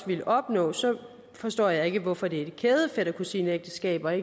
ville opnå så forstår jeg ikke hvorfor det er kæde fætter kusine ægteskaber